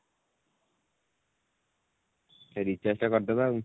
ସେ recharge ଟା କରିଦାବା ଆଉ